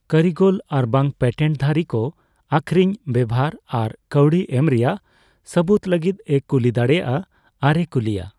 ᱠᱟᱹᱨᱤᱜᱚᱞ ᱟᱨᱵᱟᱝ ᱯᱮᱴᱮᱱᱴᱼᱫᱷᱟᱨᱤ ᱠᱚ ᱟᱹᱠᱷᱤᱨᱤᱧ, ᱵᱮᱣᱦᱟᱨ ᱟᱨ ᱠᱟᱹᱣᱰᱤ ᱮᱢ ᱨᱮᱭᱟᱜ ᱥᱟᱹᱵᱩᱫᱽ ᱞᱟᱹᱜᱤᱫᱼᱮ ᱠᱩᱞᱤ ᱫᱟᱲᱮᱭᱟᱜᱼᱟ ᱟᱨᱮ ᱠᱩᱞᱤᱭᱟ ᱾